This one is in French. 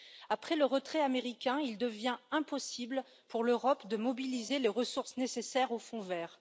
Après le retrait américain, il devient impossible pour l'Europe de mobiliser les ressources nécessaires au Fonds vert.